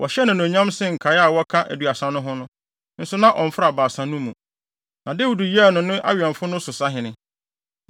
Wɔhyɛɛ no anuonyam sen nkae a wɔka Aduasa no ho no, nso na ɔmfra Baasa no mu. Na Dawid yɛɛ no ne ho awɛmfo no so sahene.